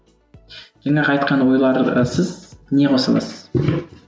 жаңағы айтқан ойларға сіз не қоса аласыз